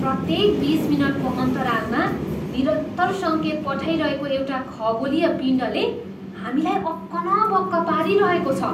प्रत्येक बिस मिनटको अन्तरालमा निरन्तर सङ्केत पठाइरहेको एउटा खगोलीय पिण्डले हामीलाई अक्क न बक्क पारिरहेको छ।